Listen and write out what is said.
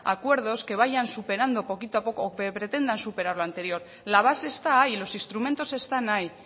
acuerdos que vayan superando poquito a poco o que pretendan superar lo anterior la base está ahí los instrumentos están ahí